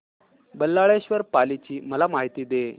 बल्लाळेश्वर पाली ची मला माहिती दे